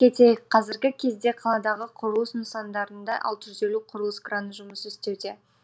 кетейік қазіргі кезде қаладағы құрылыс нысандарында алты жүз елу құрылыс краны жұмыс істеуде